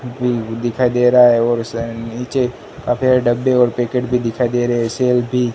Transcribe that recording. दिखाई दे रहा है और उसके नीचे काफी सारे डिब्बे और पैकेट भी दिखाई दे रहे हैं सेल्फ भी--